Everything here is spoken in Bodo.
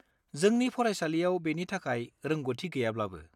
जोंनि फरायसालियाव बेनि थाखाय रोंग'थि गैयाब्लाबो।